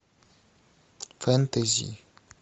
фэнтези